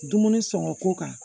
Dumuni sɔngɔ ko kan